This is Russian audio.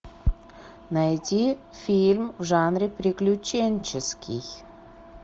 найти фильм в жанре приключенческий